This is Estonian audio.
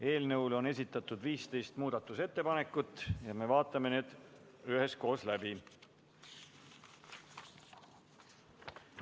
Eelnõu kohta on esitatud 15 muudatusettepanekut ja me vaatame need üheskoos läbi.